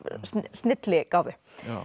snilligáfu